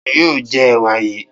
Ta ni yóò jẹ ẹ̀wà yìí?